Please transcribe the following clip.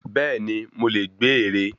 Bẹ́ẹ̀ni, mo lè gbé ère.